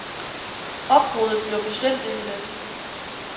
Opbruddet bliver bestemt ikke let.